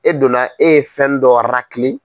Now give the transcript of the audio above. E donna e ye fɛn dɔ